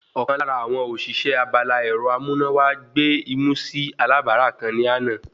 Ọ̀kan lára àwọn òṣìṣẹ́ abala ẹ̀rọ amúnáwá gbé imú sí alábàárà kan ní àná